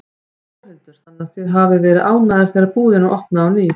Þórhildur: Þannig að þið hafið verið ánægðar þegar búðin opnaði á ný?